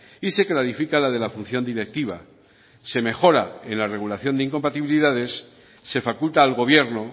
y se clarifica la de la función directiva se mejora en la regulación de incompatibilidades se faculta al gobierno